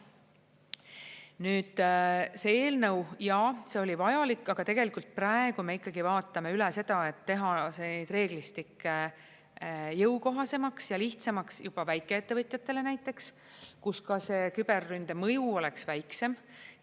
Nüüd see eelnõu, jaa, see oli vajalik, aga tegelikult praegu me ikkagi vaatame üle seda, et teha see reeglistik jõukohasemaks ja lihtsamaks juba väikeettevõtjatele näiteks, kus see küberründe mõju oleks väiksem.